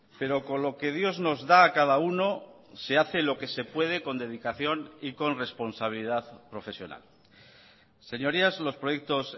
pero con lo que dios nos da a cada uno se hace lo que se puede con dedicación y con responsabilidad profesional señorías los proyectos